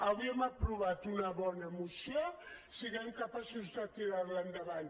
avui hem aprovat una bona moció siguem capaços de tirar la endavant